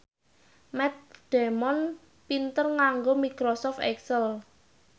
Matt Damon pinter nganggo microsoft excel